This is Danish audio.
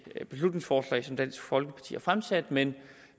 beslutningsforslag som dansk folkeparti har fremsat men